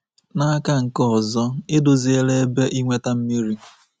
N'aka nke ọzọ, edoziela ebe inweta mmiri..